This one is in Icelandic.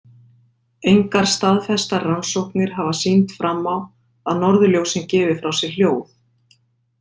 Engar staðfestar rannsóknir hafa sýnt fram á að norðurljósin gefi frá sér hljóð.